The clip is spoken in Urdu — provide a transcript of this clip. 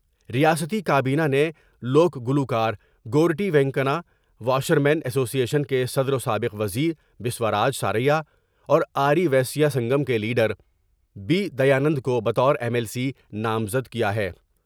ریاستی کابینہ نے لوک گلوکار Goreti Venkanna, washermen association کے صدر و سابق وز یر بسواراج سار یا اور آ ری ویسیا سنگم کے لیڈر بی دیانند کو بطورایم ایل سی نامزد کیا ہے ۔